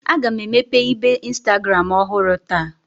Aga m emepe ibe Instagram ọhụrụ taa